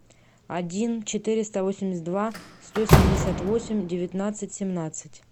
один четыреста восемьдесят два сто семьдесят восемь девятнадцать семнадцать